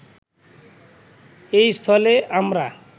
এস্থলে আমরা